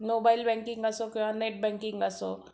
mobile banking असो किंवा net banking असो